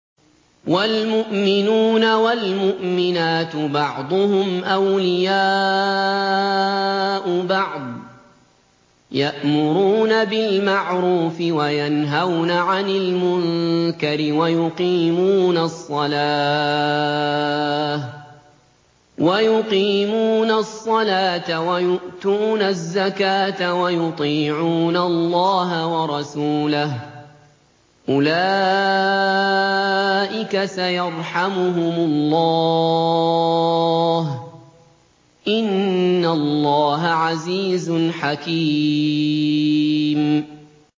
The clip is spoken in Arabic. وَالْمُؤْمِنُونَ وَالْمُؤْمِنَاتُ بَعْضُهُمْ أَوْلِيَاءُ بَعْضٍ ۚ يَأْمُرُونَ بِالْمَعْرُوفِ وَيَنْهَوْنَ عَنِ الْمُنكَرِ وَيُقِيمُونَ الصَّلَاةَ وَيُؤْتُونَ الزَّكَاةَ وَيُطِيعُونَ اللَّهَ وَرَسُولَهُ ۚ أُولَٰئِكَ سَيَرْحَمُهُمُ اللَّهُ ۗ إِنَّ اللَّهَ عَزِيزٌ حَكِيمٌ